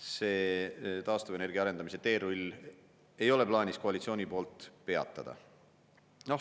See taastuvenergia arendamise teerull ei ole plaanis koalitsiooni poolt peatada.